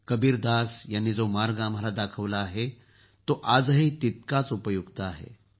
कबीरदास यांनी जो मार्ग आम्हाला दाखवला आहे तो आजही तितकाच उपयुक्त आहे